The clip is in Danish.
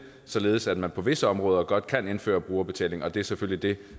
således at man på visse områder godt kan indføre brugerbetaling og det er selvfølgelig det